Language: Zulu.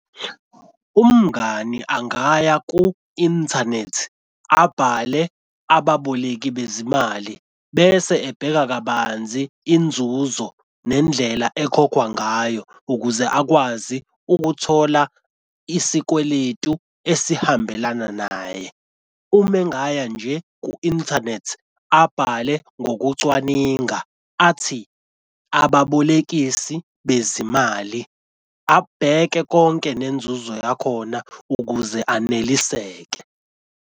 Umngani angaya ku-inthanethi abhale ababoleki bezimali bese ebheka kabanzi inzuzo nendlela ekhokhwa ngayo ukuze akwazi ukuthola isikweletu esihambelana naye. Uma engaya nje ku-inthanethi abhale ngokucwaninga athi ababolekisi bezimali abheke konke nenzuzo yakhona ukuze aneliseke.